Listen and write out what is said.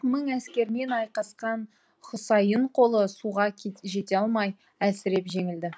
мың әскермен айқасқан хұсайын қолы суға жете алмай әлсіреп жеңілді